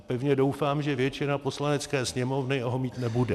A pevně doufám, že většina Poslanecké sněmovny ho mít nebude.